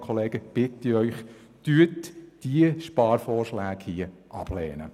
Deshalb bitte ich Sie, diese Sparvorschläge abzulehnen.